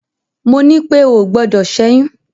Mo ní pé o ò gbọdọ̀ ṣẹ́yún!